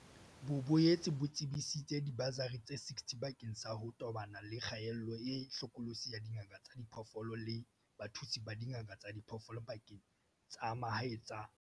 Bo boetse bo tsebisitse dibasari tse 60 bakeng sa ho tobana le kgaello e hlokolosi ya dingaka tsa diphoofolo le bathusi ba dingaka tsa diphoofolo dibakeng tsa mahae tsa Afrika Borwa.